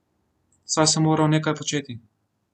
Saj sem moral nekaj početi.